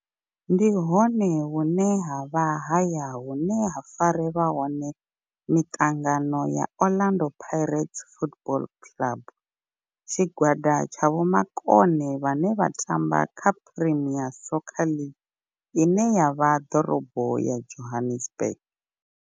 Ndi hone hune havha haya hune ha farelwa hone miṱangano ya Orlando Pirates Football Club. Tshigwada tsha vhomakone vhane vha tamba kha Premier Soccer League ine ya vha ḓorobo ya Johannesburg.